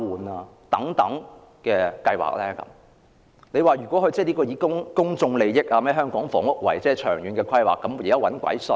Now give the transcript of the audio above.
難道有人會相信這是為公眾利益或香港房屋的長遠規劃着想嗎？